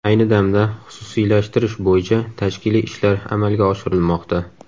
Ayni damda xususiylashtirish bo‘yicha tashkiliy ishlar amalga oshirilmoqda.